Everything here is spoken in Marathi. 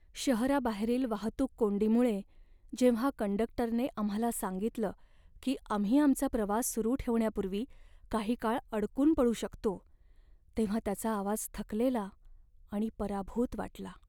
शहराबाहेरील वाहतूक कोंडीमुळे जेव्हा कंडक्टरने आम्हाला सांगितलं की आम्ही आमचा प्रवास सुरू ठेवण्यापूर्वी काही काळ अडकून पडू शकतो, तेव्हा त्याचा आवाज थकलेला आणि पराभूत वाटला.